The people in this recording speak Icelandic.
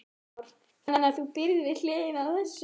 Kristján Már: Þannig að þú býrð við hliðina á þessu?